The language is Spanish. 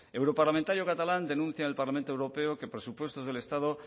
europarlamentario catalán denuncia en el parlamento europeo que presupuestos del estado